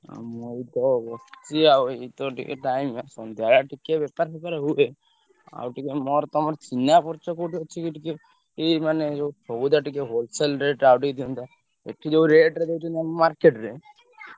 ମୁଁ ଏଇତ ବସିଛି ଆଉ ଏଇତ ଟିକେ time ଆଉ ସନ୍ଧ୍ୟାବେଳେ ଟିକେ ବେପାର ଫେପାର ହୁଏ। ଆଉ ଟିକେ ମୋର ତମର ଚିହ୍ନା ପରିଚୟ କୋଉଠି ଅଛିକି ଟିକେ ଏଇ ମାନେ ଯୋଉ ସଉଦା ଟିକେ wholesale rate ଦିଅନ୍ତା। ଏଠି ଯୋଉ rate ରେ ଦଉଛନ୍ତି ଆମ market ରେ, ।